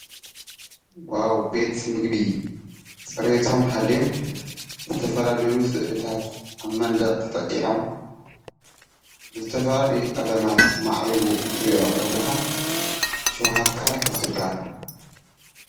ዋዉ!!! ቤት ምግቢ ፅሬቶም ሓልዮም ዝተፈላለዪ ስእልታት ኣብ መንድቕ ተጠቂዖም፣ ብዝተፈላለዪ ቀለማት ማዕሪጉ ክትርኢ ከለኻ ሸዉሃትካ ይኸፍቱልካ ።